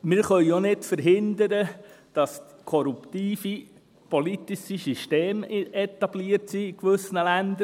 Wir können auch nicht verhindern, dass in gewissen Ländern korrupte politische Systeme etabliert sind.